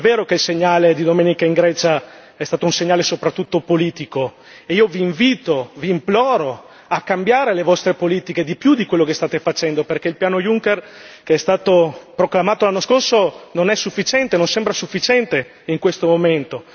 È vero che il segnale di domenica in Grecia è stato soprattutto un segnale politico e io vi invito, vi imploro a cambiare le vostre politiche di più di quello che state facendo, perché il piano Juncker, che è stato proclamato l'anno scorso, non sembra sufficiente in questo momento.